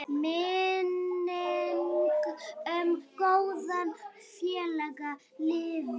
Minning um góðan félaga lifir.